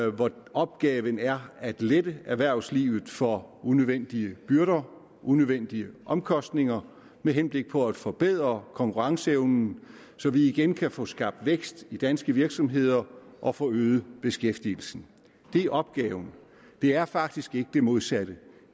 opgaven er at lette erhvervslivet for unødvendige byrder unødvendige omkostninger med henblik på at forbedre konkurrenceevnen så vi igen kan få skabt vækst i danske virksomheder og få øget beskæftigelsen det er opgaven det er faktisk ikke det modsatte